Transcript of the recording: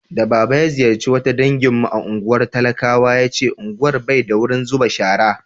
da baba ya ziyarce wata dangin mu a unguwar talakawa ya ce unguwar Bai da wurin zuba shara